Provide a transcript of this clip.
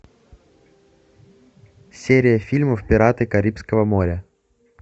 серия фильмов пираты карибского моря